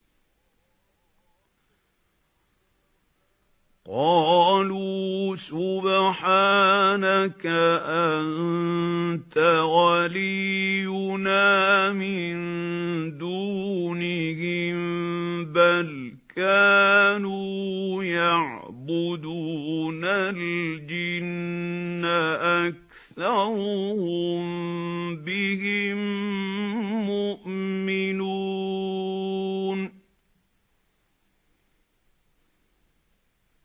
قَالُوا سُبْحَانَكَ أَنتَ وَلِيُّنَا مِن دُونِهِم ۖ بَلْ كَانُوا يَعْبُدُونَ الْجِنَّ ۖ أَكْثَرُهُم بِهِم مُّؤْمِنُونَ